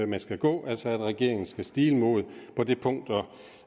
man skal gå altså at regeringen skal stile mod